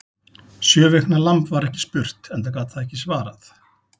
Sjö vikna lamb var ekki spurt, enda gat það ekki svarað.